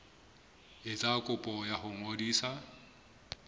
etsa kopo ya ho ngodisa